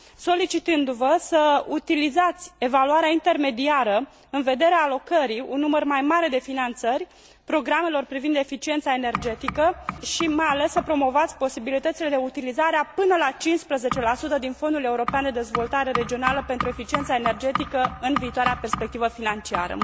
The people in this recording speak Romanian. solicitându vă să utilizați evaluarea intermediară în vederea alocării unui număr mai mare de finanțări programelor privind eficiența energetică și, mai ales, să promovați posibilitățile de utilizare a până la 15 din Fondul European de Dezvoltare Regională pentru eficiența energetică în viitoarea perspectivă financiară.